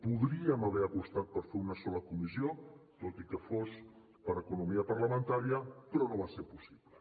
podríem haver apostat per fer una sola comissió tot i que fos per economia parlamentària però no va ser possible